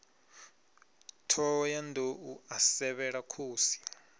thohoyanḓ ou a sevhela khosi